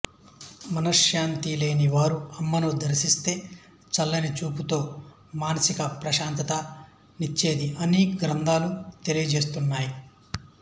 మనశ్శాంతి లేని వారు అమ్మను దర్శిస్తే చల్లని చూపు తో మానసిక ప్రశాంతత నిచ్చేది అని గ్రంధాలు తెలియ జేస్తున్నాయి